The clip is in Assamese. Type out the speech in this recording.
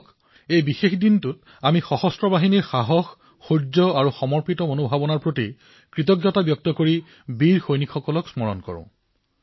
আহক এই উপলক্ষে আমি আমাৰ সশস্ত্ৰ বাহিনীৰ অদম্য সাহস শৌৰ্য আৰু সমৰ্পণৰ ভাৱৰ প্ৰতি কৃতজ্ঞতা প্ৰকাশ কৰো আৰু বীৰ সৈনিকসকলক স্মৰণ কৰো